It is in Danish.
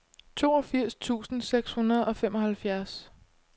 toogfirs tusind seks hundrede og femoghalvfjerds